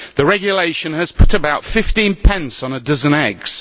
The regulation has put about 15 pence on a dozen eggs.